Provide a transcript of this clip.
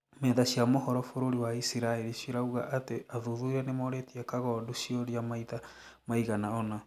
metha cia mohoro bũrũri wa isiraĩri cirauga atĩ athuthuria nimorĩtie kagondu ciũria maitha maigana ona